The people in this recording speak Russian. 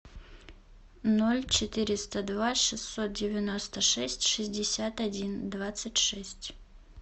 ноль четыреста два шестьсот девяносто шесть шестьдесят один двадцать шесть